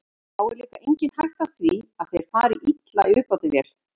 Þá er líka engin hætta á því að þeir fari illa í uppþvottavél.